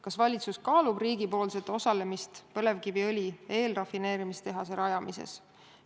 Kas valitsus plaanib riigipoolset osalemist põlevkiviõli eelrafineerimise tehase rajamises?